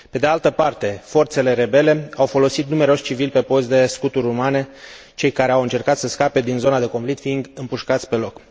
Pe de altă parte, forțele rebele au folosit numeroși civili pe post de scuturi umane, cei care au încercat să scape din zona de conflict fiind împușcați pe loc.